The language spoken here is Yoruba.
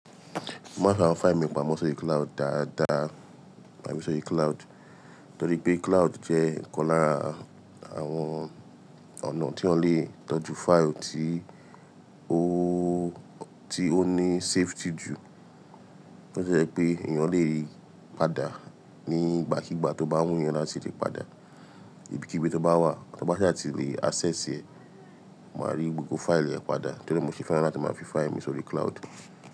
Mo máa ń fi awon fáìlì mi pamọ́ sórí cloud dáadáa, ma fi sórí cloud, torí pé cloud jẹ́ nnkan lára àwọn ọ̀nà tí wọ́n lè tọ́jú fáìlì tí ó, tí ó ní safety jù. Ó ṣe pé ìyẹn lè rí padà nígbàkígbà tó bá wù yan láti ri padà. Ibi kí ibi tó bá wà, tó bá ṣe láti lè access ẹ, máa rí gbogbo fáìlì ẹ padà. Torí mo ṣe fún ẹ láti máa fi fáìlì mi sórí cloud.